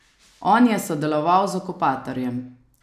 On je sodeloval z okupatorjem!